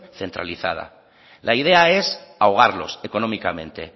centralizada la idea es ahogarlos económicamente